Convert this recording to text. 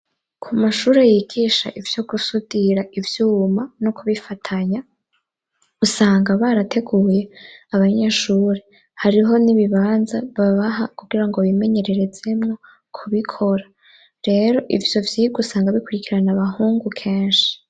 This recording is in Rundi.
Ku mashure yigisha ivyo gusudira ivyuma no kubifatanya, usanga barateguye abanyeshuri. Hariho n'ibibanza babaha kugira ngo bimenyererezemwo kubikora. Rero ivyo vyigwa usanga bikurikirana abahungu kenshi.